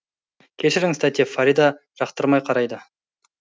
кешіріңіз тәте фарида жақтырмай қарайды